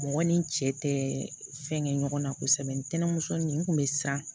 Mɔgɔ ni cɛ tɛ fɛn kɛ ɲɔgɔn na kosɛbɛ ntɛnɛnmuso nin kun bɛ siran